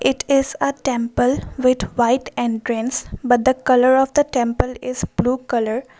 it is a temple with white entrance but the colour of the temple is blue colour.